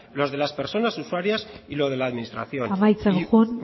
lo de las personas usuarias y lo de la administración amaitzen joan